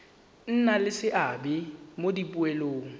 nna le seabe mo dipoelong